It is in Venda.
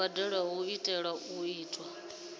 mbadelo i tea u itwa